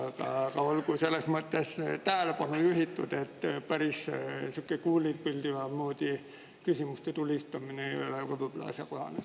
Aga olgu siis tähelepanu juhitud sellele, et päris sihuke kuulipilduja moodi küsimuste tulistamine ei ole asjakohane.